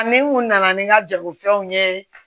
Ni n kun nana ni n ka jagofɛnw ye